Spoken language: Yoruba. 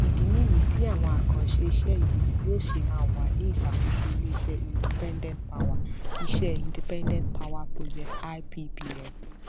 ìdí nìyí tí àwọn àkànṣe iṣé yìí yóò ṣe máa wà ní ìsàkóso ilé iṣé independent power iṣé independent power projects ipps